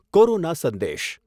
corona સંદેશ